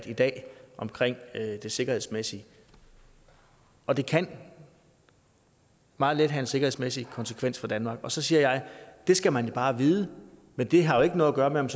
i dag om det sikkerhedsmæssige og det kan meget vel have en sikkerhedsmæssig konsekvens for danmark og så siger jeg det skal man bare vide men det har jo ikke noget at gøre med om